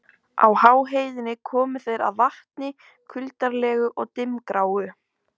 Á háheiðinni komu þeir að vatni, kaldranalegu og dimmgráu.